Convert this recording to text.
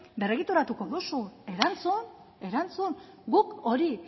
berregituratuko duzun erantzun erantzun guk hori